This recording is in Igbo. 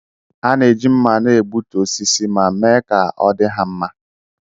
A na-eji mma na-egbutu osisi ma mee ka ọ dị ha mma.